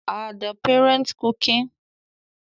Are the parents cooking?